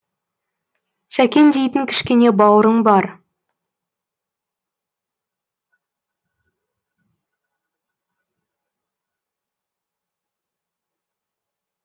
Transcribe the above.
сәкен дейтін кішкене бауырың бар